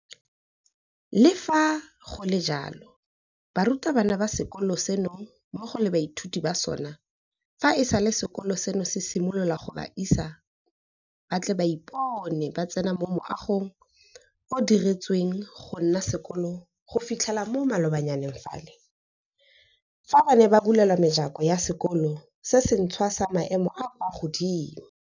Le fa go le jalo, barutabana ba sekolo seno mmogo le baithuti ba sona fa e sale sekolo seno se simolola ga ba ise ba tle ba ipone ba tsena mo moagong o o diretsweng gonna sekolo go fitlha mo malobanyaneng fale, fa bane ba bulelwa mejako ya sekolo se sentšhwa sa maemo a a kwa godimo.